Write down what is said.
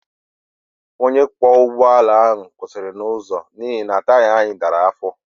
Onye ọkwọ ụgbọ ala ahụ kwụsịrị n'ụzọ n'ihi na taya anyị dara afọ